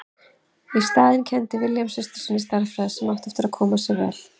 Í staðinn kenndi William systur sinni stærðfræði sem átti eftir að koma sér vel.